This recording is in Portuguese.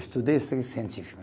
Estudei, científico.